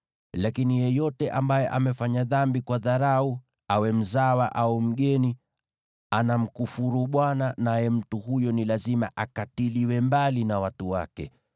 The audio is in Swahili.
“ ‘Lakini yeyote ambaye amefanya dhambi kwa dharau awe mzawa au mgeni, anamkufuru Bwana , naye mtu huyo ni lazima akatiliwe mbali na watu wake.